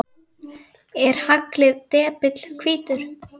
Er haglið depill hvítur?